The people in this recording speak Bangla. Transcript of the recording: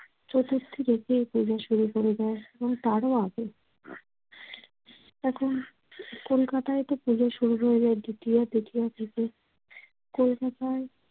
চতুর্থী থেকে এ পূজা শুরু করে দেয় এবং তারও আগে। এখন কলকাতায়তো পুজো শুরু হয়ে যায় দ্বিতীয়া, তৃতীয়া থেকে। কলকাতায়